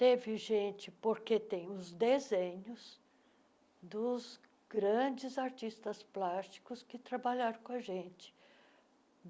Teve gente, porque tem os desenhos dos grandes artistas plásticos que trabalharam com a gente.